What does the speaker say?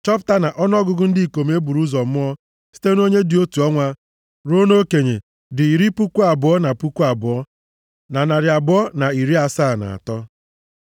chọpụta na ọnụọgụgụ ndị ikom e buru ụzọ mụọ site nʼonye dị otu ọnwa ruo nʼokenye dị iri puku abụọ na puku abụọ na narị abụọ na iri asaa na atọ (22,273).